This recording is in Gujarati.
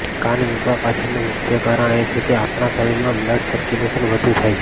કાન વિંધવા પાછળનું મુખ્ય કારણ એ છે કે આપણા શરીરમાં બ્લડ સર્ક્યુલેશન વધુ થાય છે